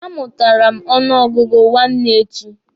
A mụtara m ọnụ ọgụgụ nwanne echi.